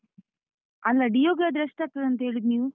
ಅಲ್ಲಾ Dio ಗಾದ್ರೆ, ಎಷ್ಟ್ ಆಗ್ತದೆ ಅಂತ ಹೇಳಿದ್ದು ನೀವು?